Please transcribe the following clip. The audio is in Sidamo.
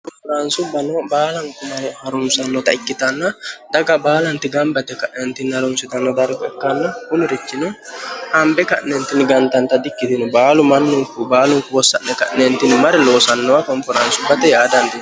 konfiraansubbano baalanti mare harumsannota ikkitanna daga baalanti gambate ka'neentini harunsitnno darga ikkanno gunirichino hambe ka'neentinni gantanta di ikkitino baalu manninku baalunku wossa'ne ka'neentini mare loosannowa konfiraansubbate yaadanti